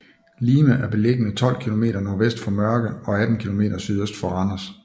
Lime er beliggende 12 kilometer nordvest for Mørke og 18 kilometer sydøst for Randers